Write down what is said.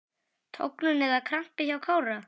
Tognun eða krampi hjá Kára?